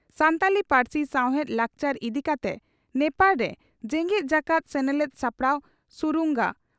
ᱥᱟᱱᱛᱟᱲᱤ ᱯᱟᱹᱨᱥᱤ ᱥᱟᱶᱦᱮᱫ ᱞᱟᱠᱪᱟᱨ ᱤᱫᱤ ᱠᱟᱛᱮ ᱱᱮᱯᱟᱲ ᱨᱮ ᱡᱮᱜᱮᱛ ᱡᱟᱠᱟᱛ ᱥᱮᱱᱮᱞᱮᱫ ᱥᱟᱯᱲᱟᱣ ᱥᱩᱨᱩᱝᱜᱟ